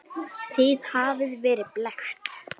Þið hafið verið blekkt.